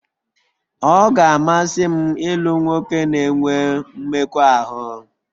Ọ ga-amasị m ịlụ nwoke na-enwe mmekọahụ